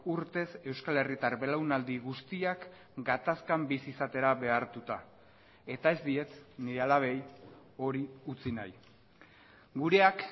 urtez euskal herritar belaunaldi guztiak gatazkan bizi izatera behartuta eta ez diet nire alabei hori utzi nahi gureak